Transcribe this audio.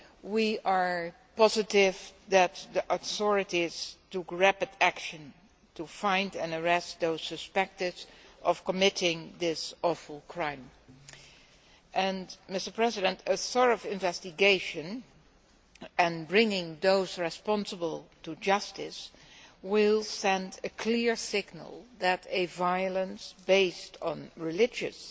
We are positive that the authorities took rapid action to find and arrest those suspected of committing this awful crime, and a thorough investigation and bringing those responsible to justice will send a clear signal that violence based on religious